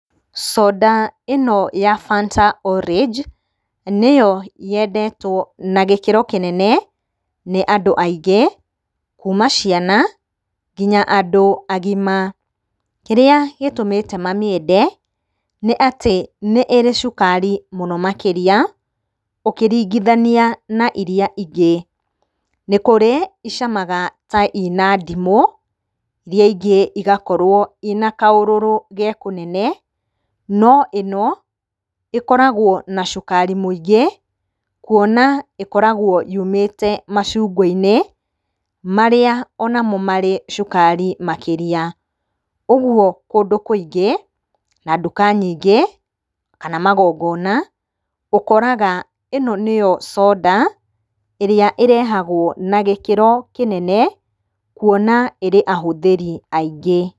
Soda ĩno ya Fanta Orange nĩyo yendetwo na gĩkĩro kĩnene nĩ andũ aingĩ kuma ciana nginya andũ agima. Kĩrĩa gĩtũmĩte mamĩende nĩ atĩ nĩĩrĩ cukari mũno makĩria ũkĩringithania na iria ingĩ. Nĩkũrĩ icamaga ta ina ndimũ iria ingĩ igakorwo ina kaũrũrũ ge kũnene, no ĩno ĩkoragwo na cukari mũingĩ kuona ĩkoragwo yũmĩte macungwa-inĩ marĩa onamo marĩ cukari makĩria. Ũguo kũndũ kũingĩ na nduka nyingĩ kana magongona ũkoraga ĩno nĩyo soda ĩrĩa ĩrehagwo na gĩkĩro kĩnene kuona ĩrĩ ahũthĩri aingĩ.